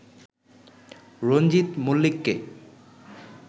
রঞ্জিত মলি্লককে